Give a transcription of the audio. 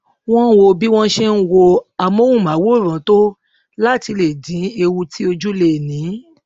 wón wo bí wón ṣe ń wo amóhùnmáwòrán tó láti lè dín ewu tí ojú lè ní